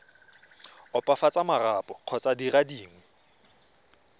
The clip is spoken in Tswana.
opafatsa marapo kgotsa dire dingwe